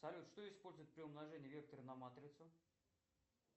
салют что используют при умножении вектора на матрицу